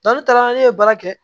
ne taara ne ye baara kɛ